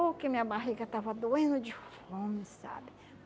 Oh que minha barriga estava doendo de fome, sabe?